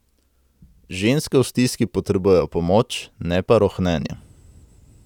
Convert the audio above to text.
Ženske v stiski potrebujejo pomoč, ne pa rohnenja...